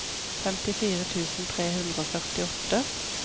femtifire tusen tre hundre og førtiåtte